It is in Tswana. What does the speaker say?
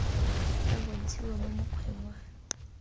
tla bontshiwa mo mokgweng wa